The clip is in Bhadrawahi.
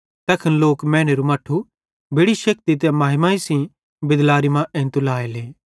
तैखन लोक मैनेरू मट्ठू बेड़ि शेक्ति ते महिमा सेइं बिदलारी मां एंइतू लाएले